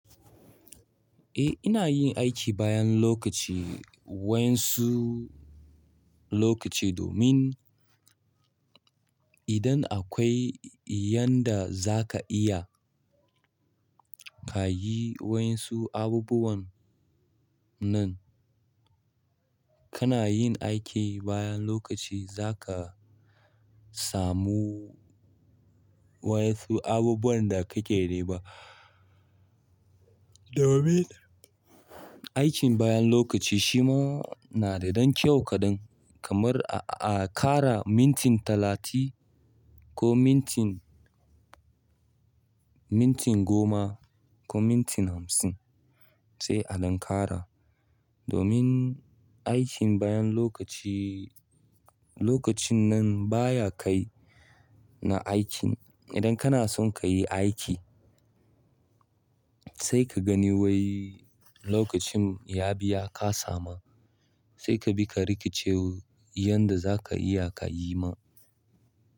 Eh ina yin aiki bayan lokaci, wa 'yansu lokaci domin, idan akwai yanda za ka iya ka yi wa'yansu abubuwan nan, kana yin aiki bayan lokaci zaka samu wa'yansu abubuwan da kake nema. Domin aikin bayan lokaci shima na da don kyau kaɗan kamar a ƙara minti talatin, ko minti minti goma ko minti hamsin sai a ɗan ƙara. Domin aikin bayan lokaci, lokacin nan baya kai na aikin idan kana son ka yi aiki sai ka gani wai, lokacin ya bi ya kasa ma sai ka bi ka rikice, yanda zaka iya kayi ma.